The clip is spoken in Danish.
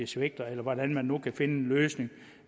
svigter eller hvordan man nu kan finde en løsning